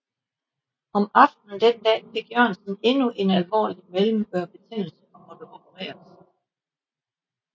Om aftenen den dag fik Jørgensen endnu en alvorlig mellemørebetændelse og måtte opereres